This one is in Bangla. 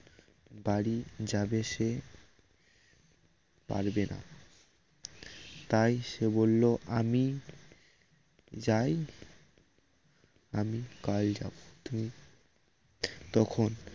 বাড়ি যাবে সে পারবে না তাই সে বলল আমি যাই আমি কাল যাব তুমি তখন